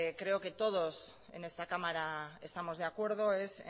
creo que todos en esta cámara estamos de acuerdo es